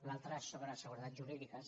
l’altra és sobre seguretats jurídiques